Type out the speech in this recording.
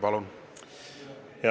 Palun!